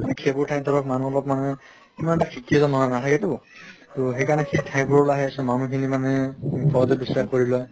মানে সেইবোৰ ঠাই ধৰক অলপ মানে ইমান এটা শিক্ষিত নহয় নাথাকেতো তহ সেই কাৰণে সেই ঠাইবোৰলৈ আহে মানুহ খিনি মানে সহজে বিস্বাস কৰি লয়